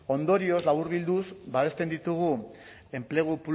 ondorioz laburbilduz babesten ditugu enplegu